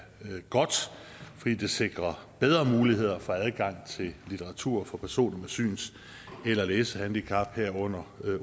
godt fordi det sikrer bedre muligheder for adgang til litteratur for personer med syns eller læsehandicap herunder